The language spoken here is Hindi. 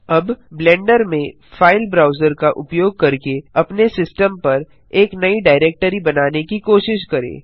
अब ब्लेंडर में फाइल ब्राउजर का उपयोग करके अपने सिस्टम पर एक नयी डाइरेक्टरी बनाने की कोशिश करें